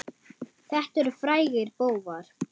Þetta eru frægir bófar.